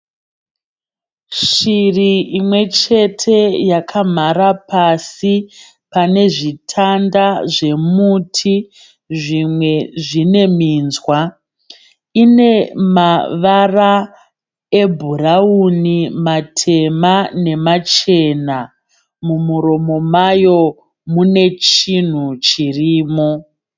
Shiri imwe chete yakamhara pasi pane zvitanda zvomuti zvimwe zvine minzwa. Ine mavara ebhurawuni, matema nemachena. Mumuromo mayo mune chinhu chirimo.